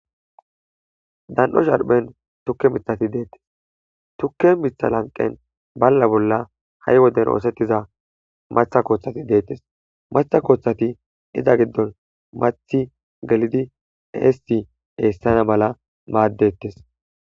dan7o sharphen tukke mithati deettes tukke mitha lanqen balla bolla ha7i woden oosettiza maththa koothati deettes matha kooththati iza giddon mathi gelidi eesi eessana mala maaddettes.